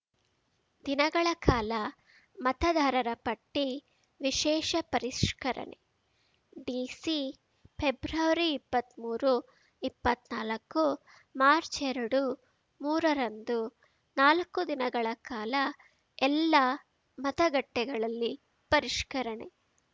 ದಿನಗಳ ಕಾಲ ಮತದಾರರಪಟ್ಟಿವಿಶೇಷ ಪರಿಷ್ಕರಣೆ ಡಿಸಿ ಪೆಬ್ರವರಿಇಪ್ಪತ್ಮೂರು ಇಪ್ಪತ್ನಾಲಕ್ಕುಮಾರ್ಚ್ಎರಡುಮೂರರಂದು ನಾಲ್ಕು ದಿನಗಳ ಕಾಲ ಎಲ್ಲಾ ಮತಗಟ್ಟೆಗಳಲ್ಲಿ ಪರಿಷ್ಕರಣೆ